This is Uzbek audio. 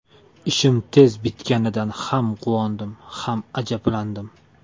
Ishim tez bitganidan ham quvondim, ham ajablandim.